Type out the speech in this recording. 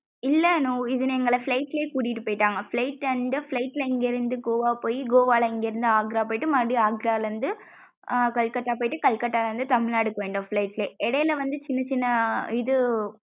இல்ல அனு இது எங்கள flight லே கூட்டிட்டு போய்ட்டாங்க flight and flight ல இங்க இருந்து கோவா போயி கோவால இங்க இருந்து ஆக்ரா போயிட்டு மறுபடியும் ஆக்ரால இருந்து கால்கட்டா போயிட்டு கால்கட்டா இருந்து தமிழ்நாடு வந்துட்டோம் flight லே இடையில வந்து சின்ன சின்ன ஆஹ் இது.